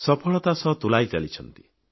ସଫଳତା ସହ ତୁଲାଇ ଚାଲିଛନ୍ତି